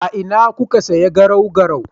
A ina kuka siya garau-garau?